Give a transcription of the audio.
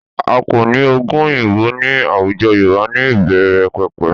A kò ní oògùn òyìnbó ní àwùjọ Yorùbá ní ìbẹ̀rẹ̀pẹ̀pẹ̀